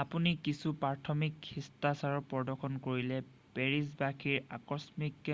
আপুনি কিছু প্ৰাথমিক শিষ্টাচাৰ প্ৰদৰ্শন কৰিলে পেৰিছ বাসীৰ আকস্মিক